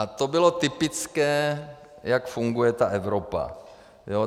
A to bylo typické, jak funguje ta Evropa.